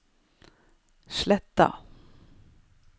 Sletta